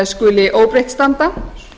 skuli óbreytt standa